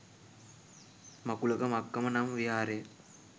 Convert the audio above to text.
මකුලක මක්කම නම් විහාරය